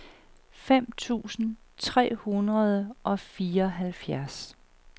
fem tusind tre hundrede og fireoghalvfjerds